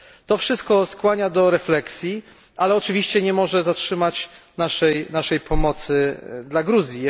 To wszystko skłania do refleksji, ale oczywiście nie może zatrzymać naszej pomocy dla Gruzji.